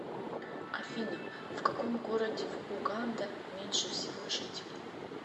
афина в каком городе в уганда меньше всего жителей